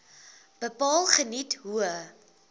bepaal geniet hoë